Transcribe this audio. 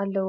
ኣልዎ።